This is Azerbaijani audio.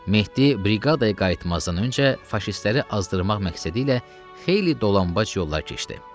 Mehdi briqadaya qayıtmazdan öncə faşistləri azdırmaq məqsədi ilə xeyli dolanbac yollar keçdi.